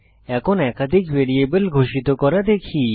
এখন একাধিক ভ্যারিয়েবল ঘোষিত করা দেখি